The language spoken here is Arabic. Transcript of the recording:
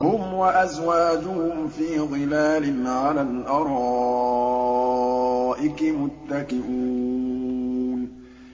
هُمْ وَأَزْوَاجُهُمْ فِي ظِلَالٍ عَلَى الْأَرَائِكِ مُتَّكِئُونَ